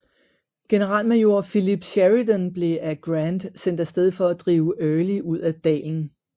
Generalmajor Philip Sheridan blev af Grant sendt af sted for at drive Early ud af dalen